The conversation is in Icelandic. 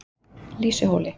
Lýsuhóli